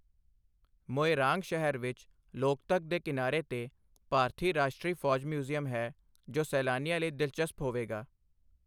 ਮੋਇਰਾਂਗ ਸ਼ਹਿਰ ਵਿੱਚ ਲੋਕਤਕ ਦੇ ਕਿਨਾਰੇ 'ਤੇ ਭਾਰਤੀ ਰਾਸ਼ਟਰੀ ਫੌਜ ਮਿਊਜ਼ੀਅਮ ਹੈ ਜੋ ਸੈਲਾਨੀਆਂ ਲਈ ਦਿਲਚਸਪ ਹੋਵੇਗਾ।